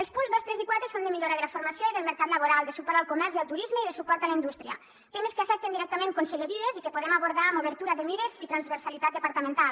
els punts dos tres i quatre són de millora de la formació i del mercat laboral de suport al comerç i al turisme i de suport a la indústria temes que afecten directament conselleries i que podem abordar amb obertura de mires i transversalitat departamental